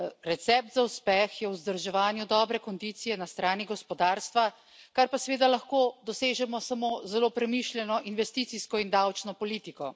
Recept za uspeh je vzdrževanje dobre kondicije na strani gospodarstva, kar pa seveda lahko dosežemo samo z zelo premišljeno investicijsko in davčno politiko.